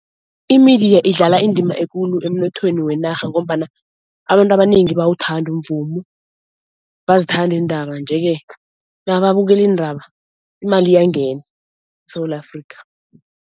I-media idlala indima ekulu emnothweni wenarha ngombana abantu abanengi bayawuthanda umvumo, bayazithanda iindaba nje-ke nababukela iindaba imali iyangena eSewula Afrika.